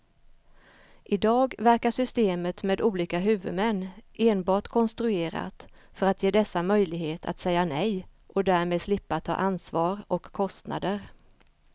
I dag verkar systemet med olika huvudmän enbart konstruerat för att ge dessa möjlighet att säga nej och därmed slippa ta ansvar och kostnader.